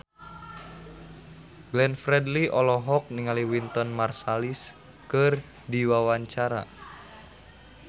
Glenn Fredly olohok ningali Wynton Marsalis keur diwawancara